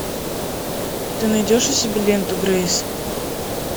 ты найдешь у себя ленту грейс